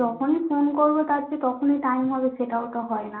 যখন ই ফোন করবে তার যে তখন ই time হবে সেটা ও তো হয় না